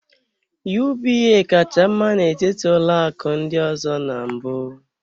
UBA kacha mma n'etiti ụlọ akụ ndị ọzọ na mbụ.